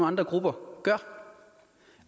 andre grupper gør